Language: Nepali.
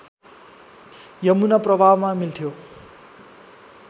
यमुना प्रवाहमा मिल्थ्यो